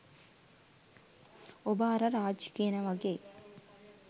ඔබ අර රාජ් කියන වගේ